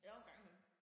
Jo engang imellem